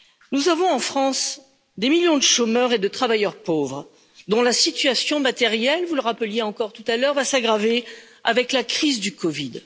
Nous avons en France des millions de chômeurs et de travailleurs pauvres, dont la situation matérielle, vous le rappeliez encore tout à l'heure va s'aggraver avec la crise du COVID.